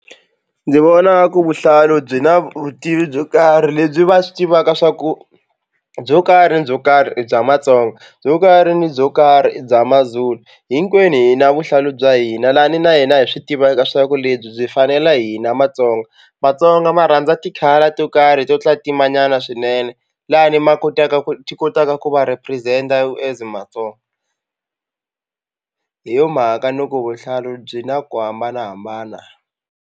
Ndzi vona ku vuhlalu byi na vutivi byo karhi lebyi va swi tivaka swa ku byo karhi ni byo karhi bya matsonga byo karhi ni byo karhi i bya mazulu. Hinkwenu hi na vuhlalu bya hina lani na hina hi swi tivaka swa ku lebyi byi fanela hina matsonga matsonga ma rhandza ti-colour to karhi to tlatimanyana swinene lani ma kotaka ku ti kotaka ku va represent as matsonga hi yo mhaka ni ku vuhlalu byi na ku hambanahambana.